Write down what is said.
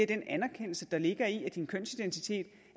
den anerkendelse der ligger i at din kønsidentitet